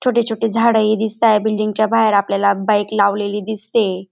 छोटे छोटे झाडं ही दिसताहे बिल्डिंग च्या बाहेर आपल्याला बाईक लावलेली दिसते.